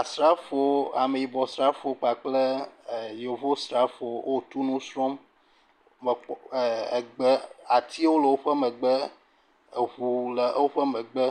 Asrafowo, ameyibɔ srafowo kpakple yevo srafowo o tu nu srɔ̃m, me… egbe, atio le woƒe megbe, eŋu le woƒe megbe,